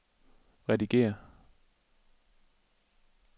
redigér